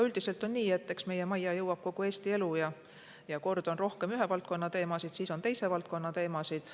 Üldiselt on nii, et meie majja jõuab kogu Eesti elu ja kord on rohkem ühe valdkonna teemasid, siis jälle teise valdkonna teemasid.